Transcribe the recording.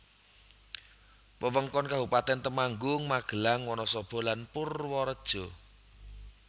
Wewengkon Kabupatèn Temanggung Magelang Wonosobo lan Purworejo